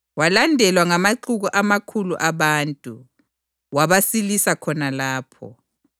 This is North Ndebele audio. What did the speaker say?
Walandelwa ngamaxuku amakhulu abantu, wabasilisa khona lapho.